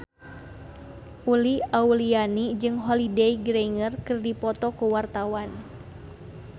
Uli Auliani jeung Holliday Grainger keur dipoto ku wartawan